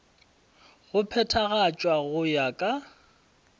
go phethagatšwa go ya ka